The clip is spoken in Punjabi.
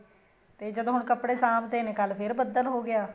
ਤੇ ਜਦੋਂ ਹੁਣ ਕੱਪੜੇ ਸਾਂਭ ਤੇ ਨੇ ਕੱਲ ਫ਼ੇਰ ਬੱਦਲ ਹੋ ਗਿਆ